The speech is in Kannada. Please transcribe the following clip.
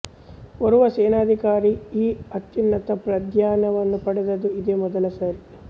ಓರ್ವ ಸೇನಾಧಿಕಾರಿ ಈ ಅತ್ಯುನ್ನತ ಪ್ರಾಧಾನ್ಯವನ್ನು ಪಡೆದದ್ದು ಇದೇ ಮೊದಲ ಸಾರಿ